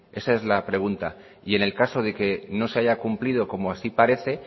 esa es la pregunta y en el caso de que no se haya cumplido como así parece